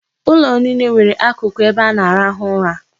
Ụlọ niile nwere akụkụ ebe a na-arahụ ụra.